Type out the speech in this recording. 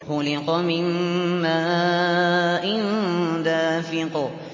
خُلِقَ مِن مَّاءٍ دَافِقٍ